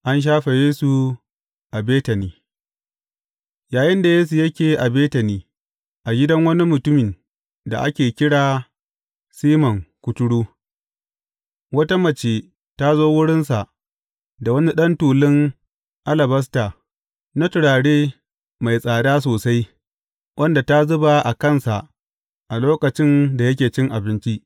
An shafe Yesu a Betani Yayinda Yesu yake a Betani, a gidan wani mutumin da ake kira Siman Kuturu, wata mace ta zo wurinsa da wani ɗan tulun alabasta na turaren mai tsada sosai, wanda ta zuba a kansa a lokacin da yake cin abinci.